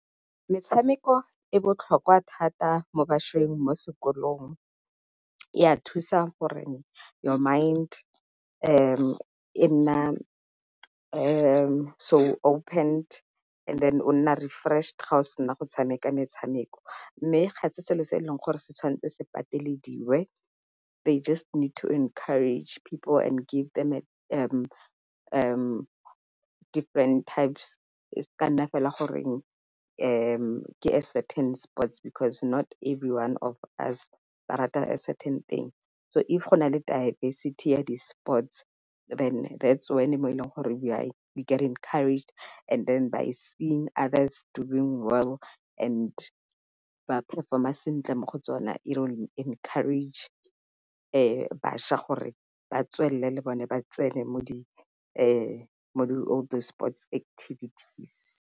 Metshameko e botlhokwa thata mo bašweng mo sekolong e a thusa gore your mind e nna so opened and then o nna refreshed ga o sena go tshameka metshameko, mme ga e selo se e leng gore se tshwanetse se patelediwe they just need to encourage and give them different types e se ka ya nna fela gore ke certain sports because not everyone of us ba rata a certain thing. So if go na le diversity ya di-sports then that's when mo e leng gore we get encouraged and then by seeing others doing well and ba performer sentle mo go tsone, it will encourage bašwa gore batswelele le bone ba tsene mo di mo di all these sports activities.